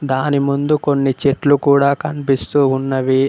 దాని ముందు కొన్ని చెట్లు కూడా కన్పిస్తూ ఉన్నవి.